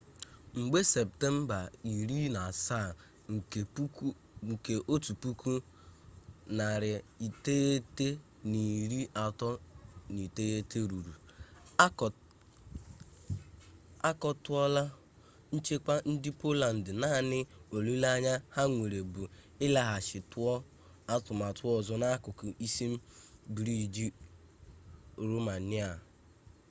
mgbe septemba 17 1939 ruru a kutuola nchekwa ndị poland naanị olileanya ha nwere bụ ịlaghachi tụọ atụmatụ ọzọ n'akụkụ isi briij romenia